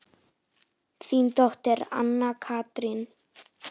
Þín dóttir, Anna Katrín.